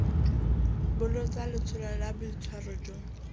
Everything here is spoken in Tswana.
bolotsa letsholo la boitshwaro jo